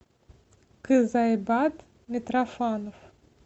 кызайбат митрофанов